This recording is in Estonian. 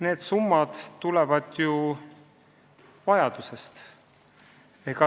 Need summad tulenevad vajadusest.